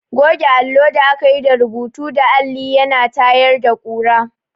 Goge allo da aka yi rubutu da alli ya na tayar da ƙura.